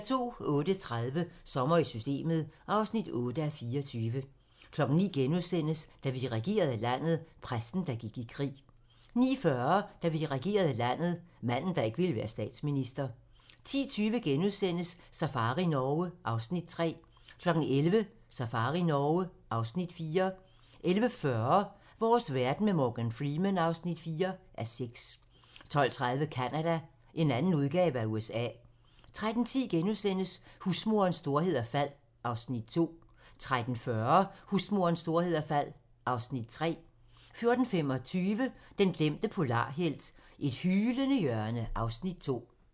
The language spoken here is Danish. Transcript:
08:30: Sommer i Systemet (8:24) 09:00: Da vi regerede landet - Præsten, der gik i krig * 09:40: Da vi regerede landet - manden, der ikke ville være statsminister 10:20: Safari Norge (Afs. 3)* 11:00: Safari Norge (Afs. 4) 11:40: Vores verden med Morgan Freeman (4:6) 12:30: Canada - en anden udgave af USA 13:10: Husmorens storhed og fald (Afs. 2)* 13:40: Husmorens storhed og fald (Afs. 3) 14:25: Den glemte polarhelt: Et hylende hjørne (Afs. 2)